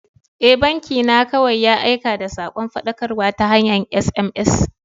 E, banki na kawai ya aika da sakon faɗakarwa ta hanyar SMS.